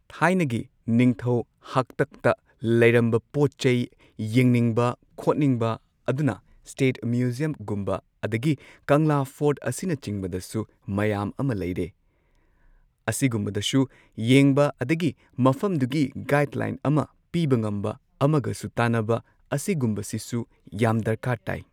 ꯊꯥꯏꯅꯒꯤ ꯅꯤꯡꯊꯧ ꯍꯥꯛꯇꯛꯇ ꯂꯩꯔꯝꯕ ꯄꯣꯠ ꯆꯩ ꯌꯦꯡꯅꯤꯡꯕ ꯈꯣꯠꯅꯤꯡꯕ ꯑꯗꯨꯅ ꯁ꯭ꯇꯦꯠ ꯃ꯭ꯌꯨꯖꯤꯌꯝꯒꯨꯝꯕ ꯑꯗꯒꯤ ꯀꯪꯂꯥ ꯐꯣꯔꯠ ꯑꯁꯤꯒꯨꯝꯕꯁꯤꯁꯨ ꯃꯌꯥꯝ ꯑꯃ ꯂꯩꯔꯦ ꯑꯁꯤꯒꯨꯝꯕꯗꯁꯨ ꯌꯦꯡꯕ ꯑꯗꯒꯤ ꯃꯐꯝꯗꯨꯒꯤ ꯒꯥꯏꯗꯂꯥꯏꯟ ꯑꯃ ꯄꯤꯕ ꯉꯝꯕ ꯑꯃꯒꯁꯨ ꯇꯥꯟꯅꯕ ꯑꯁꯤꯒꯨꯝꯁꯤꯁꯨ ꯌꯥꯝ ꯗꯔꯀꯥꯔ ꯇꯥꯏ